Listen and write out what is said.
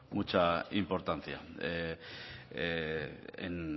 mucha importancia en